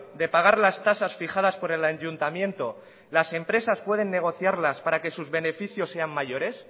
de pagar las tasas fijadas por el ayuntamiento las empresas pueden negociarlas para que sus beneficios sean mayores